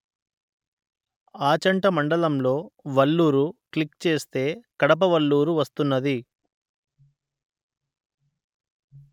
ఆచంట మండలంలో వల్లూరు క్లిక్ చేస్తే కడప వల్లూరు వస్తున్నది